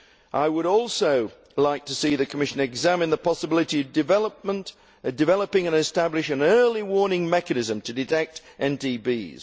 I would also like to see the Commission examine the possibility of developing and establishing an early warning mechanism to detect NTBs.